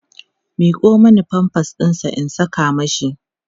miƙo Mani pampers ɗinsa in Saka mashi